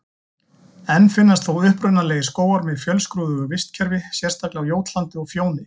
Enn finnast þó upprunalegir skógar með fjölskrúðugu vistkerfi, sérstaklega á Jótlandi og Fjóni.